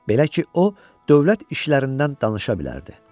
Belə ki, o dövlət işlərindən danışa bilərdi.